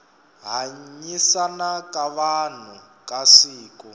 hanyisana ka vanhu ka siku